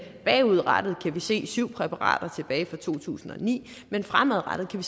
bagudrettet kan vi se på syv præparater tilbage fra to tusind og ni men fremadrettet kan